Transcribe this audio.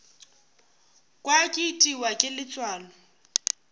kwa ke itiwa ke letswalo